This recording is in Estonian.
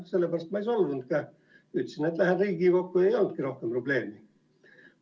Sellepärast ma ei solvunud ka, ütlesin, et lähen Riigikokku ja rohkem ei olnudki probleemi.